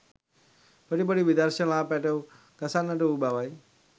පොඩි පොඩි විදර්ශනලා පැටව් ගසන්නට වූ බවයි